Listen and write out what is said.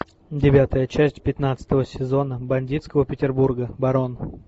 девятая часть пятнадцатого сезона бандитского петербурга барон